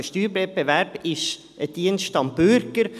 Der Steuerwettbewerb ist ein Dienst am Bürger.